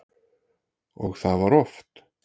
Og það var oft.